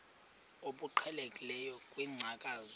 obuqhelekileyo kwinkcazo yakho